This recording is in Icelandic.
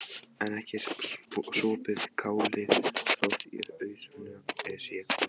En ekki er sopið kálið þótt í ausuna sé komið.